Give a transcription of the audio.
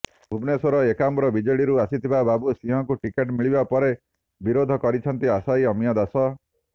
ଭୁବନେଶ୍ୱର ଏକାମ୍ରରେ ବିଜେଡିରୁ ଆସିଥିବା ବାବୁ ସିଂହଙ୍କୁ ଟିକେଟ୍ ମିଳିବା ପରେ ବିରୋଧ କରିଛନ୍ତି ଆଶାୟୀ ଅମୀୟ ଦାସ